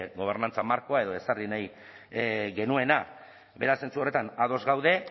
gobernantzan markoa edo ezarri nahi genuena beraz zentzu horretan ados gaude